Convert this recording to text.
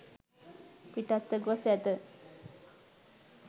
පිටත්ව ගොස් ඇත